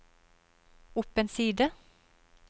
opp en side